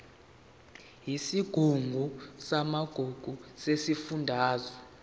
yesigungu samagugu sesifundazwe